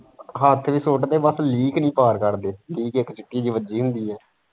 ਹੱਥ ਵੀ ਸੁੱਟਦੇ ਬਸ ਲੀਕ ਨਹੀਂ ਪਾਰ ਕਰਦੇ ਲੀਕ ਇੱਕ ਚਿੱਟੀ ਜਿਹੀ ਵੱਜੀ ਹੁੰਦੀ ਹੈ।